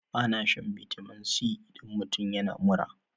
Ana shan vitamin c idan mutum yana mura.